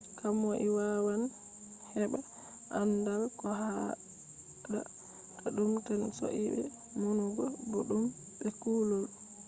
komoi wawan heba andaal. ko haada ta dum tan soidee numugo boduum be kulol